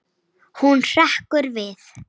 Hún hrekkur við.